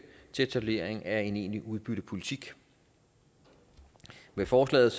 til etablering af en egentlig udbyttepolitik med forslaget